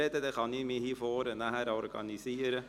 Dann kann ich mich hier vorne organisieren.